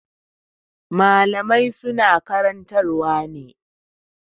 Malamai su na karantar wa ne